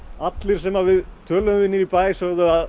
allir sem við töluðum við niðri í bæ sögðu að